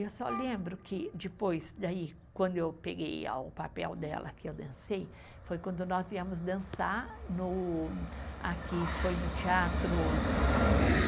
Eu só lembro que depois, daí, quando eu peguei a o papel dela, que eu dancei, foi quando nós viemos dançar no, aqui foi no teatro. Santana.